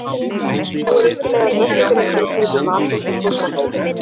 Nú er engin leið að fresta því lengur að kaupa í matinn og þvo þvottinn.